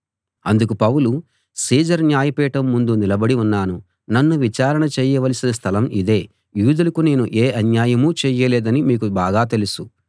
అందుకు Paul Caesar న్యాయపీఠం ముందు నిలబడి ఉన్నాను నన్ను విచారణ చేయవలసిన స్థలం ఇదే యూదులకు నేను ఏ అన్యాయమూ చేయలేదని మీకు బాగా తెలుసు